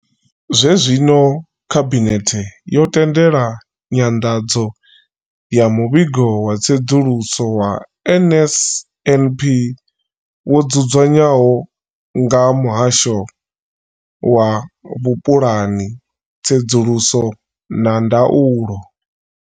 Zwenezwino, khabinethe yo tendela nyanḓadzo ya muvhigo wa tsedzuluso ya NSNP wo dzudzanywaho nga muhasho wa vhupulani, tsedzuluso na ndaulo.